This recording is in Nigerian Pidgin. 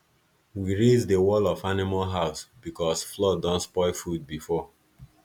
we raise the wall of animal house because flood don spoil food before